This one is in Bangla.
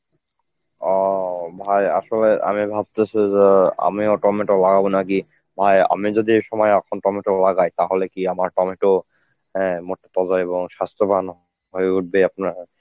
অঃ, ভাই আসলে আমি ভাবতেছি যে আমিও টমেটো লাগাবো নাকি ভাই আমি যদি এই সময় এখন টমেটো লাগাই তাহলে কি আমার টমেটো অ্যাঁ মোটা তো হইবো এবং স্বাস্থ্যবানও হয়ে উঠবে আপনার.